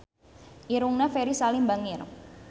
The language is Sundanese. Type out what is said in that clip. Irungna Ferry Salim bangir